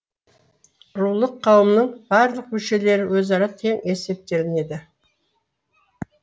рулық қауымның барлық мүшелері өзара тең есептелінеді